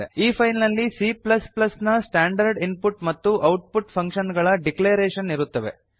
ಈ ಫೈಲ್ ನಲ್ಲಿ C ನ ಸ್ಟಾಂಡರ್ಡ್ ಇನ್ ಪುಟ್ ಮತ್ತು ಔಟ್ ಪುಟ್ ಫಂಕ್ಷನ್ ಗಳ ಡಿಕ್ಲರೇಶನ್ ಇರುತ್ತವೆ